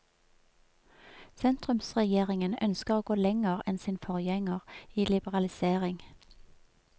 Sentrumsregjeringen ønsker å gå lenger enn sin forgjenger i liberalisering.